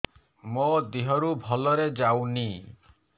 ମୋ ଦିହରୁ ଭଲରେ ଯାଉନି